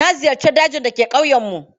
Na ziyarci dajin da ke ƙauyenmu.